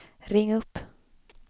ring upp